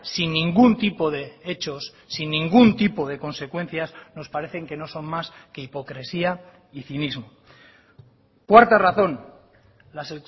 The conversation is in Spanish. sin ningún tipo de hechos sin ningún tipo de consecuencias nos parecen que no son más que hipocresía y cinismo cuarta razón las